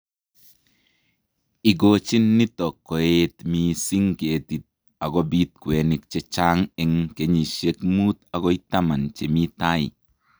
Ikojin nito koeet missing ketit akobit kwenik che chang' eng kenyisiek muut agoi taman che mi tai